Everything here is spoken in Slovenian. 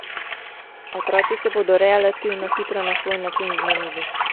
Otroci se bodo relativno hitro in na svoj način zmenili.